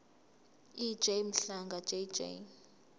ej mhlanga jj